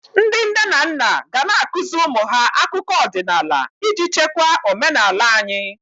Ndị nne na nna ga ana-akụzị ụmụ ha akụkọ ọdịnala iji chekwa omenala anyị.